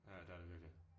Ja det er det virkelig